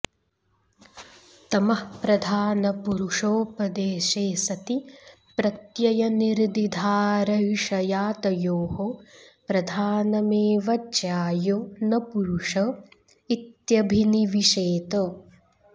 तमःप्रधानपुरुषोपदेशे सति प्रत्ययनिर्दिधारयिषया तयोः प्रधानमेव ज्यायो न पुरुष इत्यभिनिविशेत